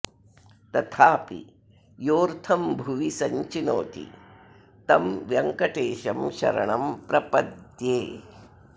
तथापि योऽर्थं भुवि सञ्चिनोति तं व्यङ्कटेशं शरणं प्रपद्ये